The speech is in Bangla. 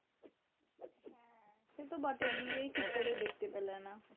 সে তো বটেই বিয়েই ঠিক করে দেখতে পেলে না।